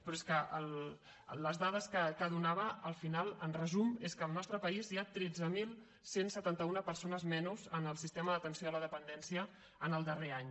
però és que amb les dades que donava al final en resum al nostre país hi ha tretze mil cent i setanta un persones menys en el sistema d’atenció a la dependència en el darrer any